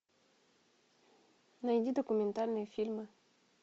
найди документальные фильмы